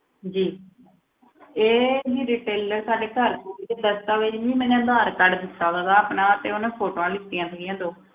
ਜੀ ਇਹ ਜੀ retailer ਸਾਡੇ ਘਰ ਕੋਲ ਹੀ ਹੈ, ਦਸਤਾਵੇਜ਼ ਜੀ ਮੈਨੇ ਆਧਾਰ ਕਾਰਡ ਦਿੱਤਾ ਸੀਗਾ ਆਪਣਾ ਤੇ ਉਹਨੇ photos ਲਿੱਤੀਆਂ ਸੀਗੀਆਂ ਦੋ।